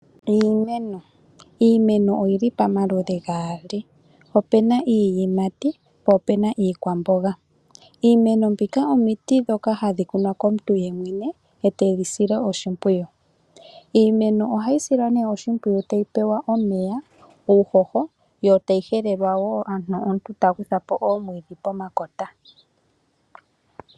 Iimeno oyili pamaludhi gaali, opuna iiyimati po opuna iikwamboga. Iimeno mbika omiti dhoka hadhi kunwa komuntu yemwene ete yi sile oshimpwiyu, iimeno ohayi silwa oshimpwiyu uuna tayi pewa omeya, uuhoho yo tayi helelwa wo pomakota